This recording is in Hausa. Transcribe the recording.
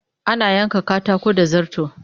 Ana yanka katako da zarto